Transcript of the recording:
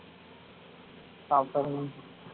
பாப்போம்